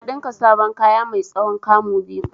Na ɗinka saboda kaya mai tsayin 'kamu' biyu.